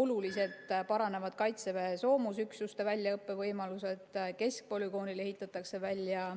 Oluliselt paranevad kaitseväe soomusüksuste väljaõppevõimalused, keskpolügoonil ehitatakse välja